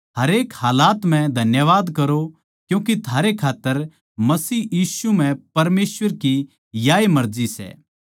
हरेक हालात म्ह धन्यवाद करो क्यूँके थारै खात्तर मसीह यीशु म्ह परमेसवर की याए मर्जी सै